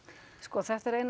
sko þetta er ein